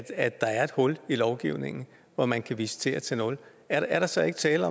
at der er et hul i lovgivningen når man kan visitere til nul er der så ikke tale